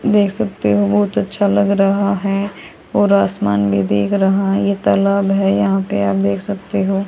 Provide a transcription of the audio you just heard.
देख सकते हो बहुत अच्छा लग रहा है और आसमान भी देग रहा है ये तालाब है यहां पर आप देख सकते हो--